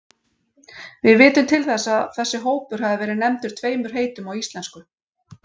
Við vitum til þess að þessi hópur hafi verið nefndur tveimur heitum á íslensku.